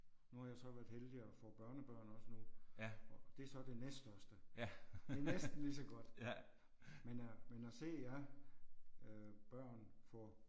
Nu har jeg så været heldig at få børnebørn også nu og det er så det næststørste. Det er næsten lige så godt. Men at men at se jer øh børn få